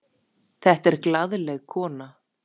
Þetta er glaðleg kona.